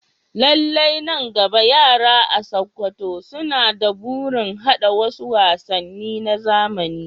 Lallai, nan gaba, yara a Sakkwato suna da burin haɗa wasu wasanni na zamani.